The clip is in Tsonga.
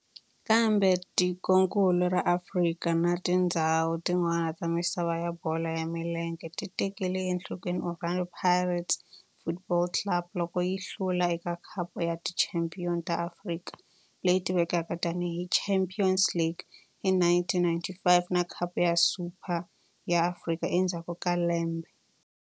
Kambe tikonkulu ra Afrika na tindzhawu tin'wana ta misava ya bolo ya milenge ti tekele enhlokweni Orlando Pirates Football Club loko yi hlula eka Khapu ya Tichampion ta Afrika, leyi tivekaka tani hi Champions League, hi 1995 na Khapu ya Super ya Afrika endzhaku ka lembe.